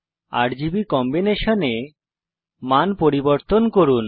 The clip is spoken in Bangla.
আরজিবি কম্বিনেশনে মান পরিবর্তন করুন